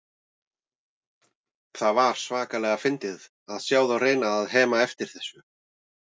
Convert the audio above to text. Það var svakalega fyndið að sjá þá reyna að hema eftir þessu.